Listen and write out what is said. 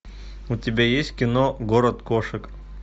у тебя есть кино город кошек